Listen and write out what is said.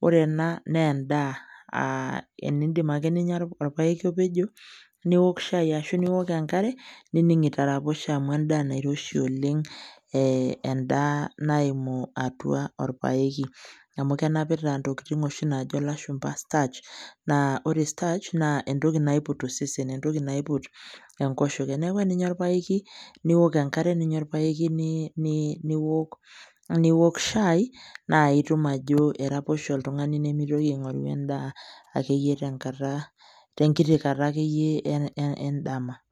Wore ena naa endaa aa eniindip ake ninya orpaeki opejo, niok shai ashu niok enkare. Nining itaraposhe amu endaa nairoshi oleng' endaa naimu atua orpaeki. Amu kenapita intokitin oshi naajo ilashumba starch. Naa wore starch naa entoki naiput osesen, entoki naiput enkoshoke, neeku eninya orpaeki, niok enkare ninya orpaeki, niwok shai, naa itum ajo iraposho oltungani nimitoki aingorru endaa akeyie tenkata, tenkiti kata akeyie endama.